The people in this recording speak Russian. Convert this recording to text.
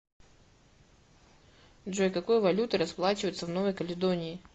джой какой валютой расплачиваются в новой каледонии